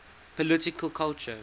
political culture